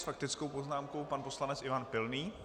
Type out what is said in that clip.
S faktickou poznámkou pan poslanec Ivan Pilný.